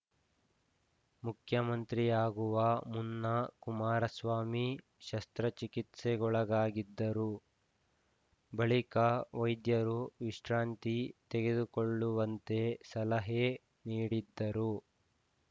ಮುಖ್ಯಮಂತ್ರಿಯಾಗುವ ಮುನ್ನ ಕುಮಾರಸ್ವಾಮಿ ಶಸ್ತ್ರಚಿಕಿತ್ಸೆಗೊಳಗಾಗಿದ್ದರು ಬಳಿಕ ವೈದ್ಯರು ವಿಶ್ರಾಂತಿ ತೆಗೆದುಕೊಳ್ಳುವಂತೆ ಸಲಹೆ ನೀಡಿದ್ದರು